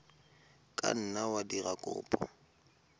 ka nna wa dira kopo